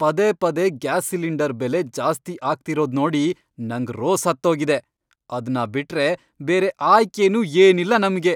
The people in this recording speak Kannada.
ಪದೇ ಪದೇ ಗ್ಯಾಸ್ ಸಿಲಿಂಡರ್ ಬೆಲೆ ಜಾಸ್ತಿ ಆಗ್ತಿರೋದ್ ನೋಡಿ ನಂಗ್ ರೋಸ್ಹತ್ತೋಗಿದೆ, ಅದ್ನ ಬಿಟ್ರೆ ಬೇರೆ ಆಯ್ಕೆನೂ ಏನಿಲ್ಲ ನಮ್ಗೆ.